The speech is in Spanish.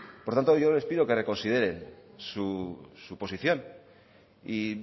por tanto yo les pido que reconsideren su posición y